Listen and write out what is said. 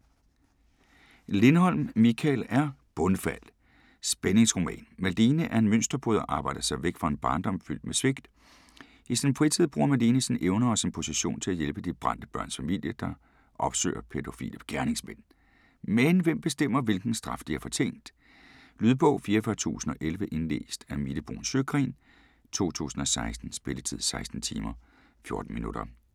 Lindholm, Mikael R.: Bundfald: spændingsroman Malene er en mønsterbryder og har arbejdet sig væk fra en barndom fyldt med svigt. I sin fritid bruger Malene sine evner og sin position på at hjælpe De Brændte Børns Familie, der opsøger pædofile gerningsmænd. Men hvem bestemmer, hvilken straf de har fortjent? Lydbog 44011 Indlæst af Mille Bruun Sjøgren, 2016. Spilletid: 16 timer, 14 minutter.